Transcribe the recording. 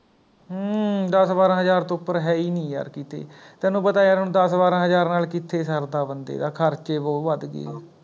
ਹਮਮ ਦਸ ਬਾਰਾਂ ਹਜ਼ਾਰ ਤੋਂ ਉੱਪਰ ਹੈ ਹੀ ਨਹੀ ਯਾਰ ਕਿਥੇ, ਤੈਨੂੰ ਪਤਾ ਯਾਰ ਹੁਣ ਦਸ ਬਾਰਾਂ ਹਜਾਰ ਨਾਲ ਕਿੱਥੇ ਸਰਦਾ ਬੰਦੇ ਦਾ, ਖਰਚੇ ਬਹੁਤ ਵੱਧ ਗਏ ਆ